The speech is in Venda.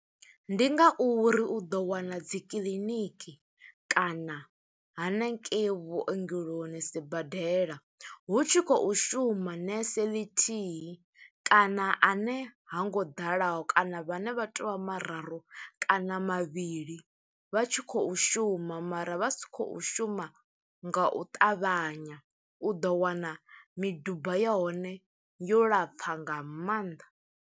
Ndi ngauri u ḓo wana dzi kiḽiniki, kana haningei vhuongeloni sibadela, hu tshi khou shuma nese ḽithihi kana ane ha ngo ḓalaho kana vhane vha to vha mararu, kana mavhili vha tshi khou shuma mara vha si khou shuma nga u ṱavhanya. U ḓo wana miduba ya hone yo lapfa nga maanḓa.